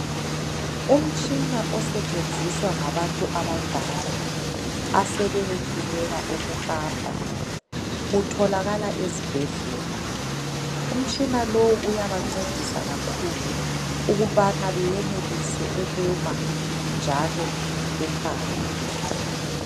Umtshina osetshenziswa ngabantu abadala asebeyehluleka ukuhamba utholakala ezibhedlela umtshina lowu uyabancedisa kakhulu ukubana beyenelise ukuma njalo behambe